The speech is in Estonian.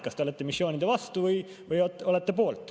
Kas te olete missioonide vastu või olete poolt?